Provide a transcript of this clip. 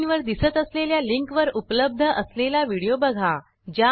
स्क्रीनवर दिसत असलेल्या लिंकवर उपलब्ध असलेला व्हिडिओ बघा